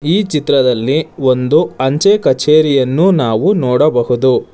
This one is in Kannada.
ಈ ಚಿತ್ರದಲ್ಲಿ ಒಂದು ಅಂಚೆ ಕಚೇರಿಯನ್ನು ನಾವು ನೋಡಬಹುದು.